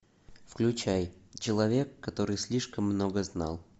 включай человек который слишком много знал